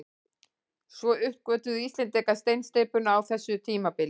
Svo uppgötvuðu Íslendingar steinsteypuna á þessu tímabili.